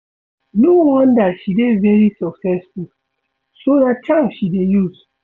No wonder she dey very successful, so ná charm she dey use